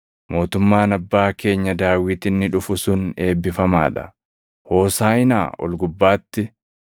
“Mootummaan abbaa keenya Daawit inni dhufu sun eebbifamaa dha!” “Hoosaaʼinaa ol gubbaatti!”